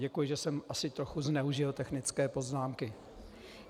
Děkuji, že jsem asi trochu zneužil technické poznámky.